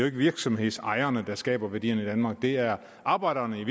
ikke virksomhedsejerne der skaber værdierne i danmark det er arbejderne i